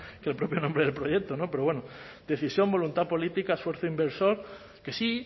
que el propio nombre del proyecto pero bueno decisión voluntad política esfuerzo inversor que sí